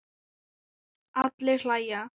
Allir hlæja.